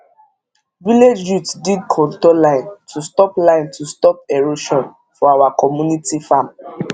village youth dig contour line to stop line to stop erosion for our community farm